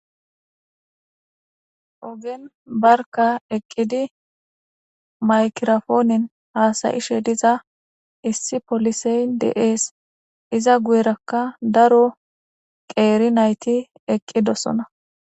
ogen barka eqqidi maykirofoonen haasayishe diza issi polisey deees iza guyerakka daro qeeri nayti eqqidossona